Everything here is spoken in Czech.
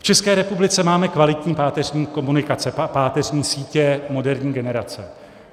V České republice máme kvalitní páteřní komunikace, páteřní sítě moderní generace.